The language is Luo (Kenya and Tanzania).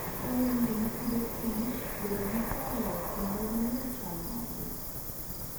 Dwarore ni joma Agriculture and Food bed gi horuok kendo ging'e chal margi.